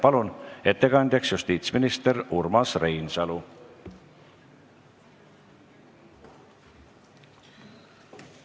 Palun ettekandeks kõnetooli justiitsminister Urmas Reinsalu!